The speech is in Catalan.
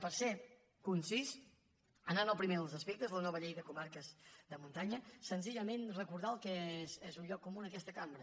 per ser concís anant al primer dels aspectes la nova llei de comarques de muntanya senzillament recordar el que és un lloc comú en aquesta cambra